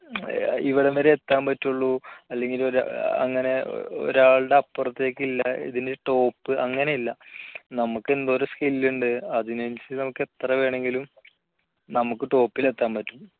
ഇവിടം വരെ എത്താൻ പറ്റുള്ളൂ അല്ലെങ്കിൽ ഒരു അങ്ങനെ ഒരാളുടെ അപ്പുറത്തേക്ക് ഇല്ല ഇതിൽ top അങ്ങനെയില്ല നമുക്ക് എന്തോരം skill ഉണ്ട് അതിനനുസരിച്ച് നമുക്ക് എത്ര വേണമെങ്കിലും നമുക്ക് top ൽ എത്താൻ പറ്റും